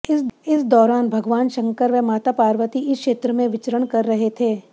इस दौरान भगवान शंकर व माता पार्वती इस क्षेत्र में विचरण कर रहे थे